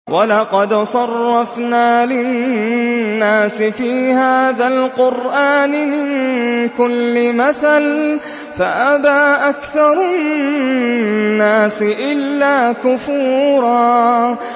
وَلَقَدْ صَرَّفْنَا لِلنَّاسِ فِي هَٰذَا الْقُرْآنِ مِن كُلِّ مَثَلٍ فَأَبَىٰ أَكْثَرُ النَّاسِ إِلَّا كُفُورًا